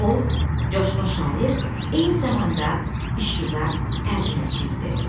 O, coşqun şair, eyni zamanda işgüzar tərcüməçi idi.